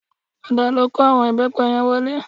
Padà lọ kó àwọn ìbẹ́pẹ yẹn wọlé